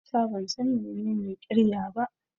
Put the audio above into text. Musa ban san menene ƙirya ba.